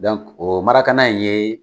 Dɔnko o marakana in ye